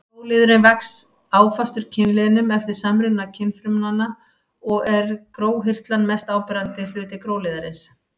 Gróliðurinn vex áfastur kynliðnum eftir samruna kynfrumanna og er gróhirslan mest áberandi hluti gróliðarins.